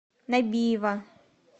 набиева